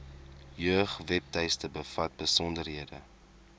jeugwebtuiste bevat besonderhede